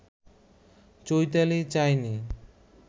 চৈতালি চায়নি